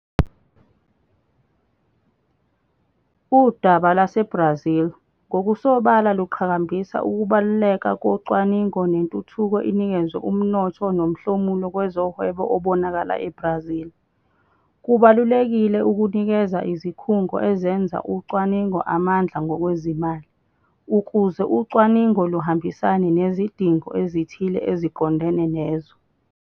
Udaba lwaseBrazil ngokusobala luqhakambisa ukubaluleka kocwaningo nentuthuko inikezwe umnotho nomhlomulo kwezohwebo obonakala eBrazil. Kubalulekile ukunikeza izikhungo ezenza ucwaningo amandla ngokwezimali, ukuze ucwaningo luhambisane nezidingo ezithile eziqondene nezwe.